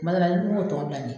N man d'a la n m'o tɔ bila min.